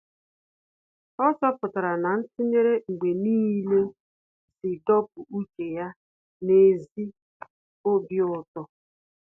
Ọ́ chọ́pụ̀tárà na ntụnyere mgbe nìile sì dọ́pụ́ úchè ya n’ézí obi ụtọ.